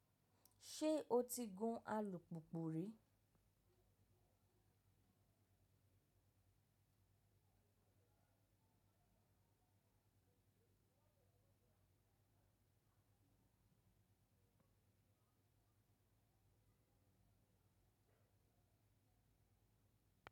Ṣé o ti gun alùpùpù rí?